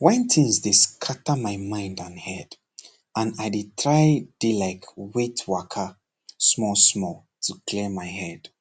when things dey scatter my mind and head and i tirei dey like waitwaka small small to clear my head